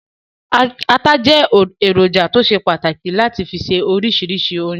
Ata jẹ́ èròjà tó ṣe pàtàkì láti fi se oríṣiríṣi oúnjẹ.